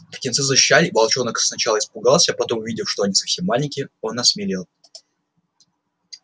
птенцы защищали и волчонок сначала испугался потом увидев что они совсем маленькие он осмелел